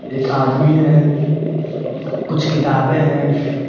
एक आदमी हैं कुछ किताबें हैं।